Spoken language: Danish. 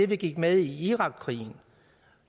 vi gik med i irakkrigen